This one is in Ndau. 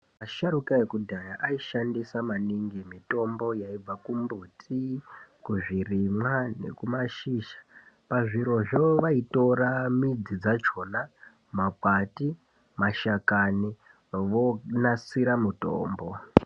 Asharuka ekudhaya aishandisa maningi mitombo yaibva kumbuti, zvirimwa nekumashizha. Pazvirozvo vaitora midzi dzachona, makwati, mashakani vonasira mutombo.